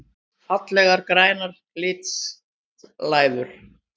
Fallegar grænar glitslæður!